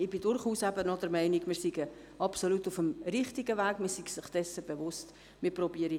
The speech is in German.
Ich bin aber durchaus auch der Meinung, dass wir uns auf dem richtigen Weg befinden und dass man sich dessen bewusst ist.